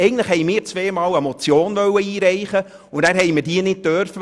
Wir haben beide einmal eine Motion einreichen wollen und durften es dann nicht.